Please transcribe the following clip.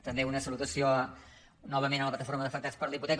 també una salutació novament a la plataforma d’afectats per la hipoteca